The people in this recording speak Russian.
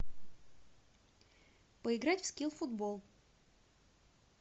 поиграть в скил футбол